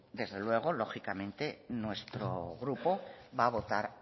desde luego lógicamente nuestro grupo va a votar